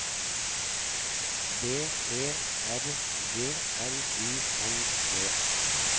B E R G L U N D